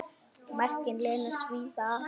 Verkin leynast víða, afi minn.